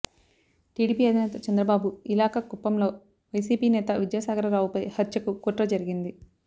TDP అధినేత చంద్రబాబు ఇలాకా కుప్పంలో వైసీపీ నేత విద్యాసాగర రావుపై హత్యకు కుట్ర జరిగింది